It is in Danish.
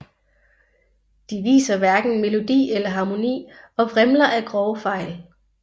De viser hverken melodi eller harmoni og vrimler af grove fejl